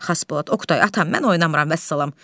Xasbolat, Oqtay, atam, mən oynamıram vəssalam.